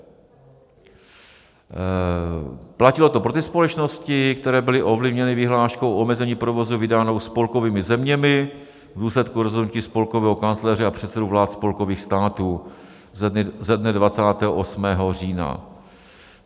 Platilo to pro ty společnosti, které byly ovlivněny vyhláškou omezení provozu vydanou spolkovými zeměmi v důsledku rozhodnutí spolkového kancléře a předsedů vlád spolkových států ze dne 28. října.